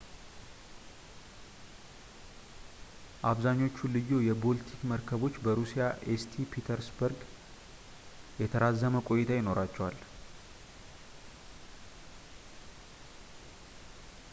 አብዛኞቹ ልዩ የቦልቲክ መርከቦች በሩሲያ ኤስቲ ፒተርስበርግ የተራዘመ ቆይታ ይኖራቸዋል